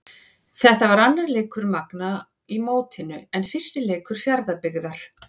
Þetta var annar leikur Magna í mótinu en fyrsti leikur Fjarðabyggðar.